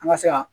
An ka se ka